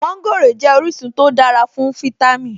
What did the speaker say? Mọ́ńgòrò jẹ́ orísun tó dára fún fítámì